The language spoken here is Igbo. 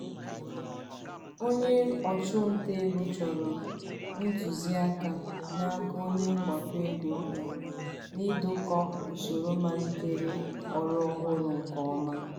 onye ọchụ nta ego chọrọ ntụziaka n'aka onye mgbakọ ego ya n'idokọ usoro malite ọrụ ọhụrụ nke ọma.